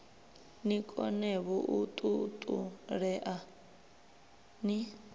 ni konevho u ṱuṱulea ni